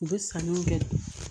U bɛ sanuw kɛ